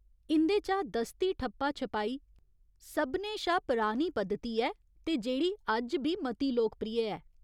इं'दे चा दस्ती ठप्पा छपाई सभनें शा परानी पद्धति ऐ ते जेह्ड़ी अज्ज बी मती लोकप्रिय ऐ।